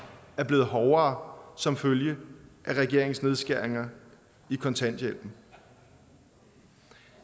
er blevet hårdere som følge af regeringens nedskæringer i kontanthjælpen